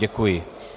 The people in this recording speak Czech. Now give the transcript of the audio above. Děkuji.